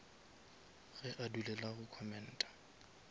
ge a dulela go commenta